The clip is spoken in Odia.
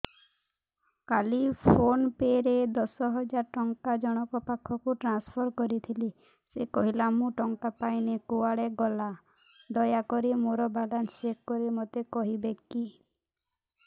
କାଲି ଫୋନ୍ ପେ ରେ ଦଶ ହଜାର ଟଙ୍କା ଜଣକ ପାଖକୁ ଟ୍ରାନ୍ସଫର୍ କରିଥିଲି ସେ କହିଲା ମୁଁ ଟଙ୍କା ପାଇନି କୁଆଡେ ଗଲା ଦୟାକରି ମୋର ବାଲାନ୍ସ ଚେକ୍ କରି ମୋତେ କହିବେ କି